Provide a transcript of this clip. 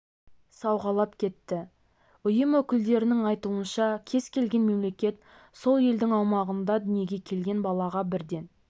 сауғалап кетті ұйым өкілдерінің айтуынша кез келген мемлекет сол елдің аумағында дүниеге келген балаға бірден